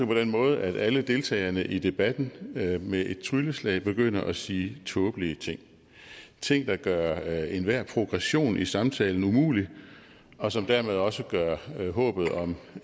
på den måde at alle deltagerne i debatten med med et trylleslag begynder at sige tåbelige ting ting der gør enhver progression i samtalen umulig og som dermed også gør håbet om